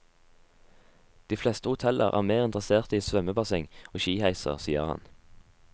De fleste hoteller er mer interesserte i svømmebasseng og skiheiser, sier han.